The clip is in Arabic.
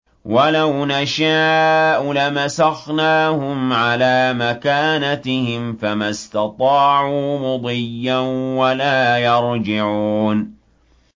وَلَوْ نَشَاءُ لَمَسَخْنَاهُمْ عَلَىٰ مَكَانَتِهِمْ فَمَا اسْتَطَاعُوا مُضِيًّا وَلَا يَرْجِعُونَ